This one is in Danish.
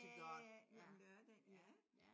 Ja ja ja om lørdagen ja